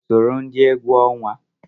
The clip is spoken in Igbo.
Soro ndị egwu ọnwa!